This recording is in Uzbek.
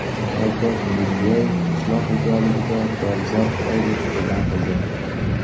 Shavkat Mirziyoyev qishloq xo‘jaligida dolzarb oylik e’lon qildi.